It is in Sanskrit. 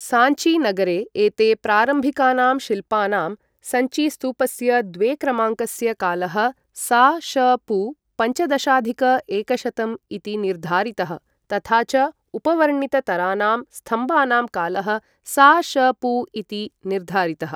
साञ्चीनगरे एते प्रारम्भिकानां शिल्पानां, सञ्चीस्तूपस्य द्वेक्रमाङ्कस्य कालः सा.श.पू. पञ्चदशाधिक एकशतं इति निर्धारितः, तथा च उपवर्णिततरानां स्तम्भानां कालः सा.श.पू. इति निर्धारितः।